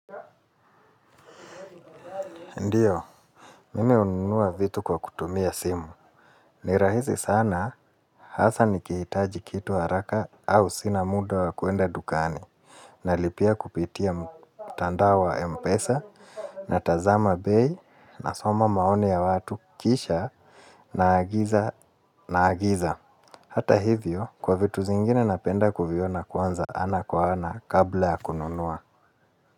Ndiyo, mimi ununua vitu kwa kutumia simu. Nirahisi sana, hasa nikihitaji kitu haraka au sina muda wakuenda dukani. Nalipia kupitia mtandao wa Mpesa na tazama bei na soma maoni ya watu kisha na agiza na agiza. Hata hivyo, kwa vitu zingine napenda kuviona kwanza ana kwa ana kabla ya kununua.